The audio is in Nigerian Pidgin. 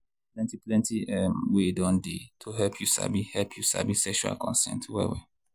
plenty plenty um way don dey to help you sabi help you sabi sexual consent well well.